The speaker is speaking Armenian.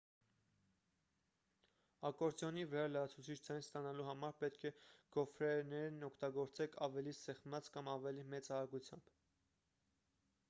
ակորդեոնի վրա լրացուցիչ ձայն ստանալու համար պետք է գոֆրեներն օգտագործեք ավելի սեղմած կամ ավելի մեծ արագությամբ